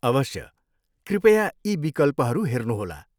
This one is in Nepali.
अवश्य, कृपया यी विकल्पहरू हेर्नुहोला।